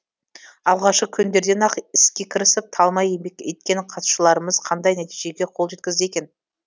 алғашқы күндерден ақ іске кірісіп талмай еңбек еткен қатысушаларымыз қандай нәтижеге қол жеткізді екен